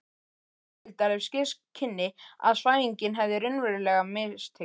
Ragnhildar, ef ske kynni að svæfingin hefði raunverulega mistekist.